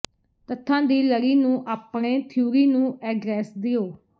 ਤੱਥਾਂ ਦੀ ਲੜੀ ਨੂੰ ਆਪਣੇ ਥਿਊਰੀ ਨੂੰ ਐਡਰੈੱਸ ਦਿਓ